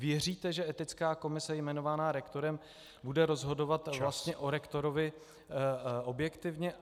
Věříte, že etická komise jmenovaná rektorem bude rozhodovat o rektorovi objektivně?